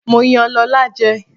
Mo yan Lọ́la jẹ.